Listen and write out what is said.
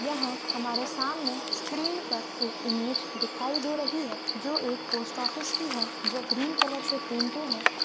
यह हमारे सामने स्क्रीन पर एक इमेज दिखाई दे रही है जो एक पोस्ट ऑफिस की है जो ग्रीन कलर से पेंटेड है।